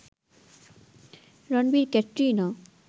Ranbir-Katrina